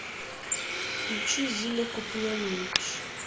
включи зина куприянович